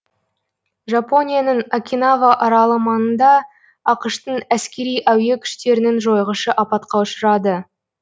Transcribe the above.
жапонияның окинава аралы маңында ақш тың әскери әуе күштерінің жойғышы апатқа ұшырады